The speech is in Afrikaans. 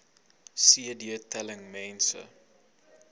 cd telling mense